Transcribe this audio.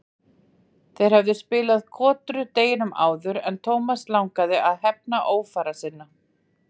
Þeir höfðu spilað kotru deginum áður og Thomas langaði að hefna ófara sinna.